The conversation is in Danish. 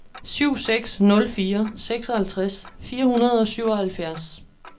syv seks nul fire seksoghalvtreds fire hundrede og syvoghalvfjerds